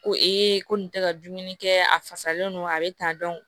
Ko ee ko nin tɛ ka dumuni kɛ a fasalen don a be ta